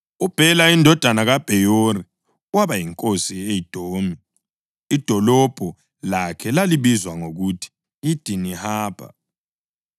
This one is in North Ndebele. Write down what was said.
UBhela indodana kaBheyori waba yinkosi e-Edomi. Idolobho lakhe lalibizwa ngokuthi yiDinihabha.